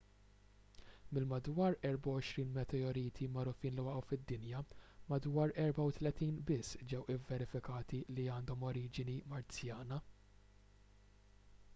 mill-madwar 24,000 meteoriti magħrufin li waqgħu fid-dinja madwar 34 biss ġew ivverifikati li għandhom oriġini marzjana